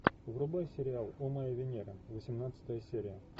врубай сериал о моя венера восемнадцатая серия